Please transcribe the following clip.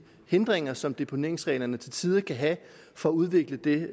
hindringer som deponeringsreglerne til tider kan have for at udvikle det